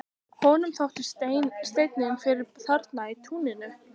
Honum þótti steinninn fyrir þarna í túninu.